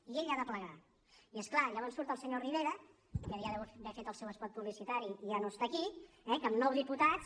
i ell ha de plegar i és clar llavors surt el senyor rivera que ja deu haver fet el seu espot publicitari i ja no està aquí eh que amb nou diputats